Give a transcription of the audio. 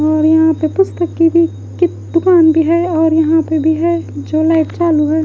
और यहां पे पुस्तक की भी कि दुकान भी है और यहां पे भी है जो लाइट चालू है।